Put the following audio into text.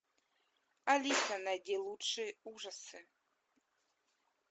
алиса найди лучшие ужасы